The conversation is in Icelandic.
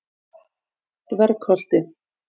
Dvergholti